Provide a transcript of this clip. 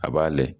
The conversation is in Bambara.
A b'a layɛ